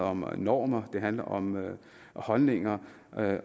om normer det handler om holdninger